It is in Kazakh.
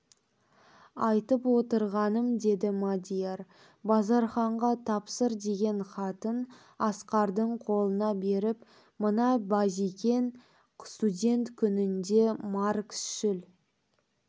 айтып отырғаным деді мадияр базарханға тапсыр деген хатын асқардың қолына беріп мына базекең студент күнінде марксшіл